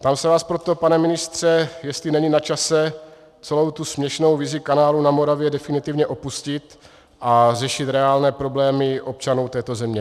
Ptám se vás proto, pane ministře, jestli není na čase celou tu směšnou vizi kanálu na Moravě definitivně opustit a řešit reálné problémy občanů této země.